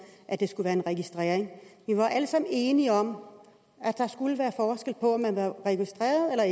at det skulle være en registrering vi var alle sammen enige om at der skulle være forskel på om man var registreret eller